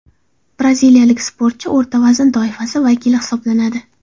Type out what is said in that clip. Braziliyalik sportchi o‘rta vazn toifasi vakili hisoblanadi.